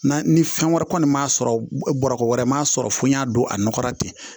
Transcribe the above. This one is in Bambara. Na ni fɛn wɛrɛ kɔni m'a sɔrɔ bɔrɔ wɛrɛ m'a sɔrɔ fo n y'a don a nɔgɔra ten